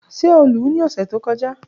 Ṣe o lu u ni ọsẹ to kọja?